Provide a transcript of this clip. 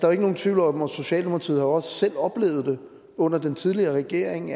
er ikke nogen tvivl om at socialdemokratiet også selv har oplevet det under den tidligere regering